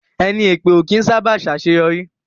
Ẹni èpè ó kí ń sá bà ṣe àṣéyọrí